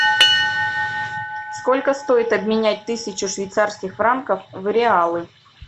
сколько стоит обменять тысячу швейцарских франков в реалы